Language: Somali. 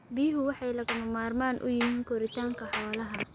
Biyuhu waxay lagama maarmaan u yihiin koritaanka xoolaha.